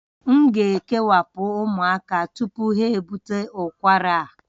M ga-ekewapụ ụmụaka tupu ha ebute ụkwara a